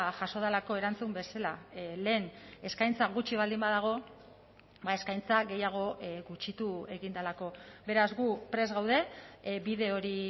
jaso delako erantzun bezala lehen eskaintza gutxi baldin badago eskaintza gehiago gutxitu egin delako beraz gu prest gaude bide hori